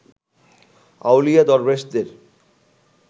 আউলিয়া দরবেশদের